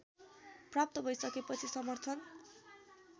प्राप्त भैसकेपछि समर्थन